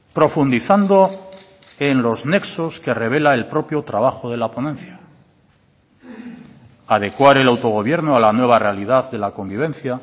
profundizando en los nexos que revela el propio trabajo de la ponencia adecuar el autogobierno a la nueva realidad de la convivencia